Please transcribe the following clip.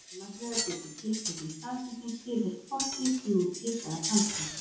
Annars vegar getur tiltekin staðsetning tilheyrt fortíð, nútíð eða framtíð.